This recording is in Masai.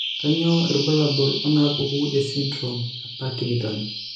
Kainyio irbulabul onaapuku esindirom ePartingtone?